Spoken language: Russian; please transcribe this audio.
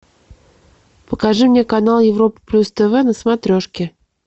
покажи мне канал европа плюс тв на смотрешке